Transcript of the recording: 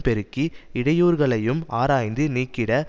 பெருக்கி இடையூறுகளையும் ஆராய்ந்து நீக்கிட